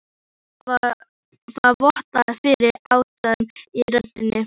Það vottar fyrir aðdáun í röddinni.